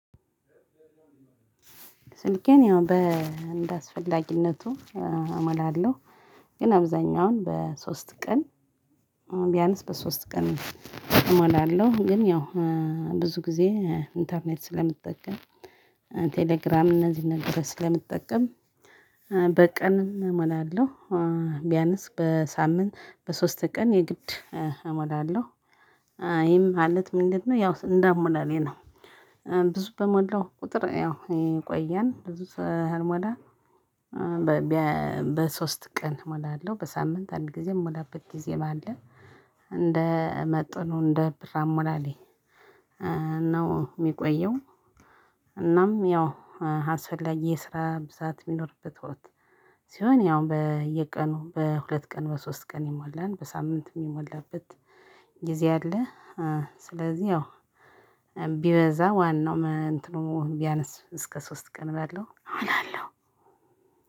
ስልኬን ያው በአስፈላጊነቱ እሞላለሁ። ግን አብዛኛውን በሶስት ቀን ቢያንስ በሶስት ቀን እሞላለሁ። ግን ያው ብዙ ጊዜ ኢንተርኔት ስለምጠቀም ቴሌግራም እነዚህ እነዚህን ነገር ስለምጠቀም በቀን እሞላለሁ። ቢያነስ በሳምንት በሶስት ቀን የግድ እሞላለሁ። ይሄም ማአለት ምንድነው ያው እንዳሞላሌ ነው። ብዙ በሞላው ቁጥር ያው ይቆያል ብዙ ባልሞላ። በሶስት ቀን እሞላለሁ በሳምንት አንድ ጊዜ የምሞላበት ጊዜ ባለ እንደ መጠኑ እንደ ብር አሞላሌ። የሚቆየው። እናም ያው አስፈላጊ የስራ ብዛት የሚኖርበት ወቅት ሲሆን ያው በየቀኑ በሁለት ቀን በሶስት ቀን ይሞላል። በሳምንት የሚሞላበት ጊዜ አለ። ስለዚህ ያው ቢበዛ ዋናው እንትኑ ቢያነስ እስከ ሶስት ቀን ባለው እሞላለሁ።